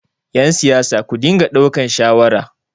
yansiyasa ku dinga daukan shawara!